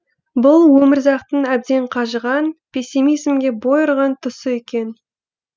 бұл өмірзақтың әбден қажыған пессимизмге бой ұрған тұсы екен